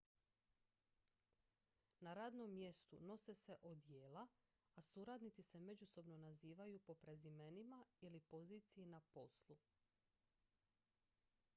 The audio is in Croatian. na radnom mjestu nose se odijela a suradnici se međusobno nazivaju po prezimenima ili poziciji na poslu